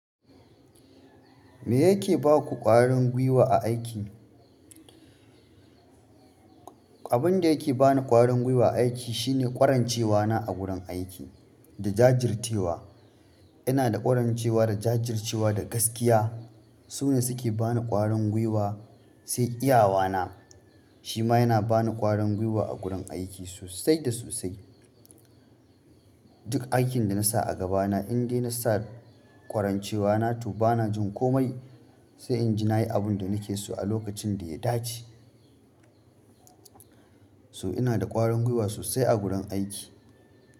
Me yake ba ku ƙwarin guiwa a aiki? Abunda yake bani ƙwarin guiwa a aiki shine ƙwarancewana a gurin aiki da jajircewa. Ina da ƙwarancewa da jajircewa da gaskiya. Su ne suke bani ƙwarin guiwa, sai iyawana shi ma yana bani ƙwarin guiwa a gurin aiki sosai da sosai. Duk aikin da na sa a gaba na, indai na sa ƙwarancewana to bana jin komai, sai in ji nayi abunda nake so a lokacin da ya dace. So ina da ƙwarin gwiwa sosai a gurin aiki.